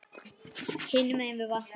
Hinum megin við vatnið.